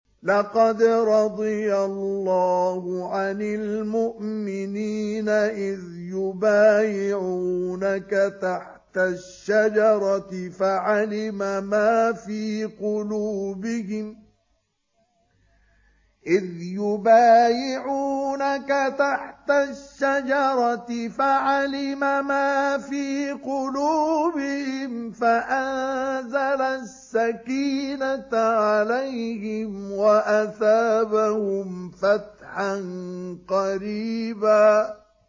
۞ لَّقَدْ رَضِيَ اللَّهُ عَنِ الْمُؤْمِنِينَ إِذْ يُبَايِعُونَكَ تَحْتَ الشَّجَرَةِ فَعَلِمَ مَا فِي قُلُوبِهِمْ فَأَنزَلَ السَّكِينَةَ عَلَيْهِمْ وَأَثَابَهُمْ فَتْحًا قَرِيبًا